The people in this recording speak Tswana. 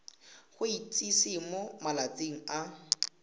go itsise mo malatsing a